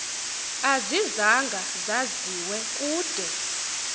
azizanga zaziwe kude